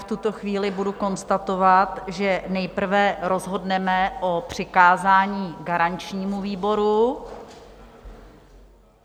V tuto chvíli budu konstatovat, že nejprve rozhodneme o přikázání garančnímu výboru.